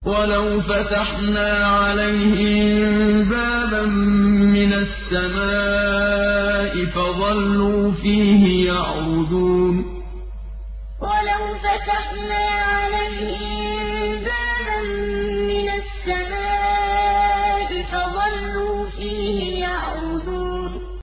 وَلَوْ فَتَحْنَا عَلَيْهِم بَابًا مِّنَ السَّمَاءِ فَظَلُّوا فِيهِ يَعْرُجُونَ وَلَوْ فَتَحْنَا عَلَيْهِم بَابًا مِّنَ السَّمَاءِ فَظَلُّوا فِيهِ يَعْرُجُونَ